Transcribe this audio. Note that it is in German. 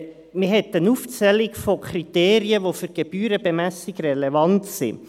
– Man hat eine Aufzählung von Kriterien, die für die Gebührenbemessung relevant sind.